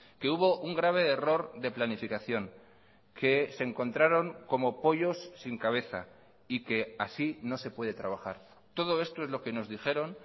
que hubo un grave error de planificación que se encontraron como pollos sin cabeza y que así no se puede trabajar todo esto es lo que nos dijeron